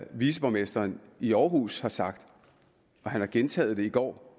viceborgmesteren i aarhus har sagt og han har gentaget det i går da